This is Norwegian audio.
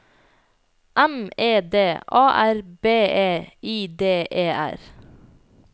M E D A R B E I D E R